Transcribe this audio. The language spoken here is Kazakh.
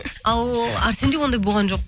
ал әрсенде ондай болған жоқ